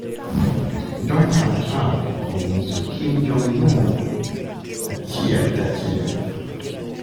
Donald Trump onyiso Kim Jong-Un achiel kachiel